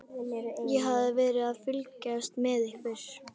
Ég hafði verið að fylgjast með ykkur.